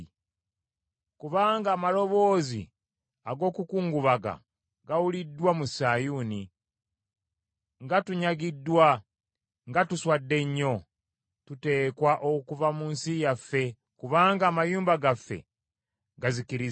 Kubanga amaloboozi ag’okukungubaga gawuliddwa mu Sayuuni; ‘Nga tunyagiddwa! Nga tuswadde nnyo! Tuteekwa okuva mu nsi yaffe kubanga amayumba gaffe gazikiriziddwa.’ ”